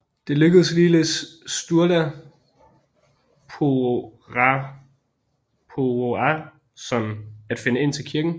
Det lykkedes ligeledes Sturla Þórðarsson at finde ind til kirken